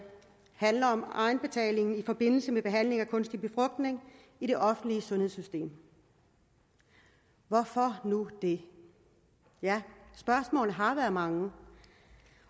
handler om egenbetaling i forbindelse med behandling med kunstig befrugtning i det offentlige sundhedssystem hvorfor nu det ja spørgsmålene har været mange